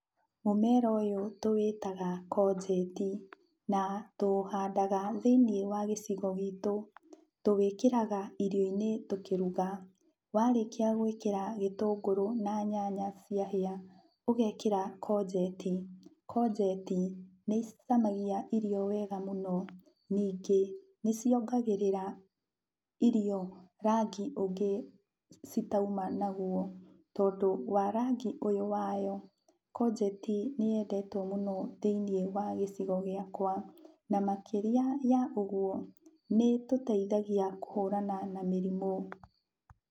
Mũmera ũyũ tũwĩtaga conjeti, na tũũhandaga thĩiniĩ gĩcigo-inĩ gitũ. Tũwĩkĩraga irio-inĩ tũkĩruga, warĩkia gwĩkĩra gĩtũngũrũ na nyanya ciahĩa, ũgekĩra conjeti. Conjeti nĩicamagia irio wega mũno. Ningĩ, nĩciongagĩrĩra irio rangi ũngĩ citauma naguo. Tondũ wa rangi ũyũ wayo, conjeti nĩyendetwo mũno thĩiniĩ wa gĩcigo gĩakwa, na makĩria ya ũguo, nĩĩtũteithagia kũhũrana na mĩrimũ.